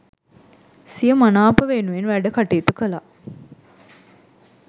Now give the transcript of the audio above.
සිය මනාප වෙනුවෙන් වැඩ කටයුතු කළා.